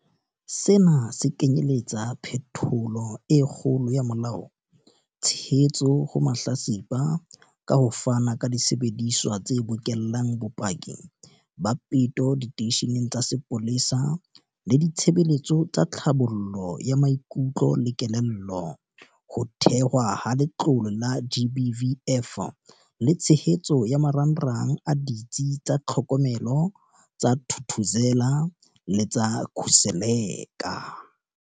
Sena se kenyeletsa phetholo e kgolo ya molao, tshehetso ho mahlatsipa ka ho fana ka disebediswa tse bokellang bopaki ba peto diteisheneng tsa sepolesa le ditshebeletso tsa tlhabollo ya maikutlo le kelello, ho thehwa ha Letlole la GBVF le tshehetso ya marangrang a Ditsi tsa Tlhokomelo tsa Thuthuzela le tsa Khuseleka.